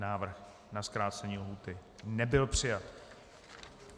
Návrh na zkrácení lhůty nebyl přijat.